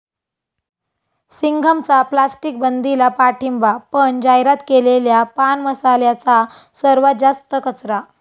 सिंघम'चा प्लास्टिकबंदीला पाठिंबा, पण जाहिरात केलेल्या पान मसाल्याचा सर्वात जास्त कचरा!